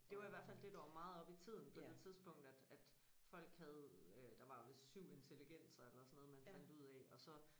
Det var i hvert fald det der var meget oppe i tiden på det tidspunkt at at folk havde øh der var vist 7 intelligenser eller sådan noget man fandt ud af og så